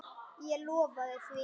Og lofaði því.